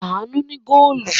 Àánú ní góólù.